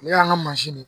O y'an ka mansin de ye